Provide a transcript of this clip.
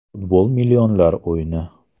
Futbol millionlar o‘yini.